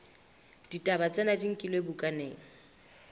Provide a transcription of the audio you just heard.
ditaba tsena di nkilwe bukaneng